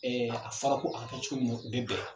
Ɛɛ a fɔra ko a ka kɛ cogo minna o bɛ bɛn